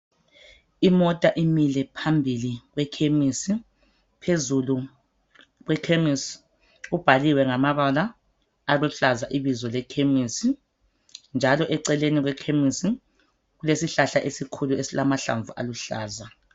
Imota imile phambili kwekhemesi, phezulu kwekhemesi kubhaliwe ngamabala aluhlaza ibizo lekhemesi njalo eceleni kwekhemesi kulesihlahla esikhulu esilamahlamvu aluhlaza.